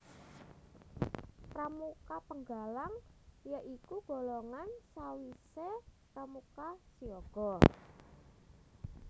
Pramuka Penggalang ya iku golongan sawisé pramuka siaga